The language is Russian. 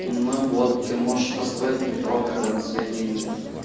ну вот ты можешь построить метро тогда на свои деньги